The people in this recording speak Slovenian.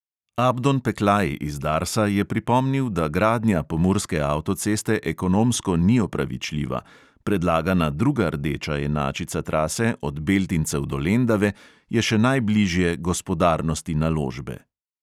Abdon peklaj iz darsa je pripomnil, da gradnja pomurske avtoceste ekonomsko ni opravičljiva, predlagana druga rdeča enačica trase od beltincev do lendave je še najbližje gospodarnosti naložbe.